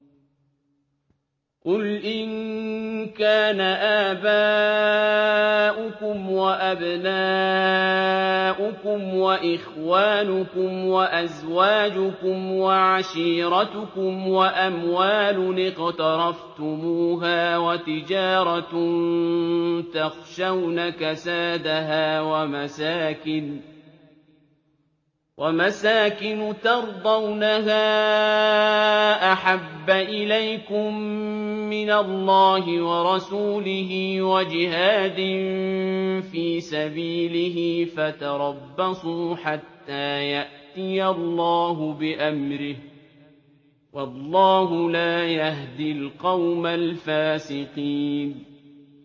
قُلْ إِن كَانَ آبَاؤُكُمْ وَأَبْنَاؤُكُمْ وَإِخْوَانُكُمْ وَأَزْوَاجُكُمْ وَعَشِيرَتُكُمْ وَأَمْوَالٌ اقْتَرَفْتُمُوهَا وَتِجَارَةٌ تَخْشَوْنَ كَسَادَهَا وَمَسَاكِنُ تَرْضَوْنَهَا أَحَبَّ إِلَيْكُم مِّنَ اللَّهِ وَرَسُولِهِ وَجِهَادٍ فِي سَبِيلِهِ فَتَرَبَّصُوا حَتَّىٰ يَأْتِيَ اللَّهُ بِأَمْرِهِ ۗ وَاللَّهُ لَا يَهْدِي الْقَوْمَ الْفَاسِقِينَ